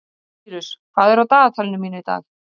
Sýrus, hvað er á dagatalinu mínu í dag?